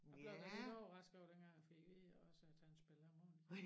Jeg blev da lidt overrasket over dengang jeg fik at vide også at han spiller harmonika